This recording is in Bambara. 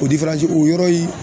O o yɔrɔ in